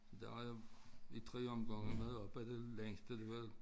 Der har jeg i 3 omgange været oppe og det længste det var